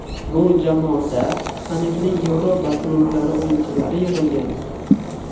Bu jamoada taniqli Yevropa klublari o‘yinchilari yig‘ilgan.